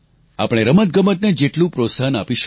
આપણે રમતગમતને જેટલું પ્રોત્સાહન આપીશું